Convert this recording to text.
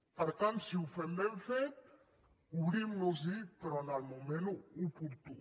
per tant si ho fem ben fet obrim nos hi però en el moment oportú